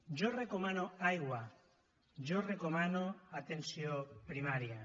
jo recomano aigua jo recomano atenció primària